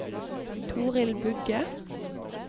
Torild Bugge